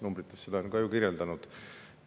Numbrid on seda ka ju kirjeldanud.